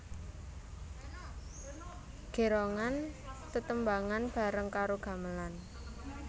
Gérongan tetembangan bareng karo gamelan